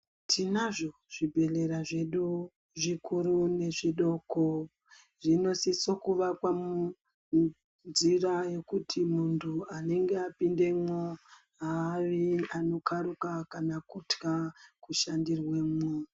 Tinazvo zvibhehlera zvedu zvikuru nezvidoko, zvinosiso kuvakwa munzira yekuti muntu anenge apindemwo haavi anokaruka kana kutya kushandirwemwo.